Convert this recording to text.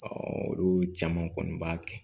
olu caman kɔni b'a kɛ